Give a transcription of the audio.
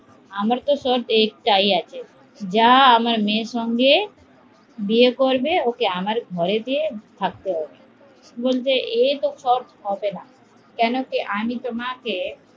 আমার তো এটাই আছে আমার মেয়ের সঙ্গে বিয়ে করবে ওকে আমার ঘরে থাকতে হবে এভাবে তো হবেনা আমিতো